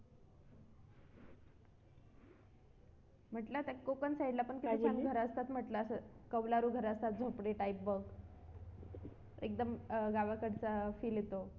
म्हटलं तर कोकण side ला पण किती छान घर असतात असं करा कौलारू घर असतात झोपडी type एकदम गावाकडचा feel येतो